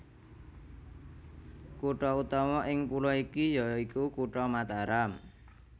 Kutha utama ing pulo iki ya iku Kutha Mataram